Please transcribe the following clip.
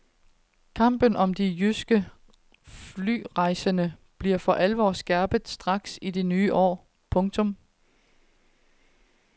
Kampen om de jyske flyrejsende bliver for alvor skærpet straks i det nye år. punktum